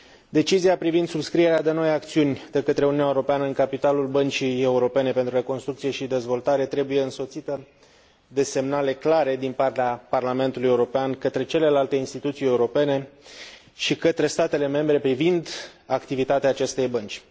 Decizia privind subscrierea de noi acțiuni de către Uniunea Europeană în capitalul Băncii Europene pentru Reconstrucție și Dezvoltare trebuie însoțită de semnale clare din partea Parlamentului European către celelalte instituții europene și către statele membre privind activitatea acestei bănci.